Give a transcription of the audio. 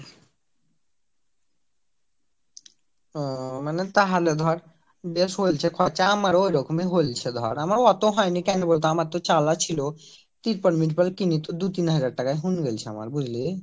ও মানে তাহলে ধর বেশ হয়েছে খরচ আমার ও ঐরকম ই হয়েছে ধর আমার এত হয়নি কেন বলতো আমার তো চালা ছিল ত্রিপল কিনি তো দু তিন হাজার টাকা হীন জাইছে আমার বুঝলি